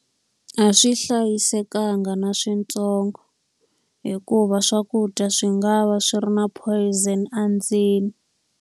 A swi hlayisekanga na switsongo. Hikuva swakudya swi nga va swi ri na poison endzeni.